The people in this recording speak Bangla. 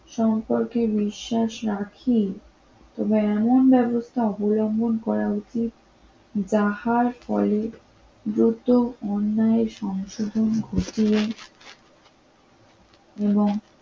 সম্পর্কে বিশ্বাস রাখি, তবে এমন ব্যবস্থা অবলম্বন করা উচিত যাহার ফলে দ্রুত অন্যায়ের সংশোধন ঘটে এবং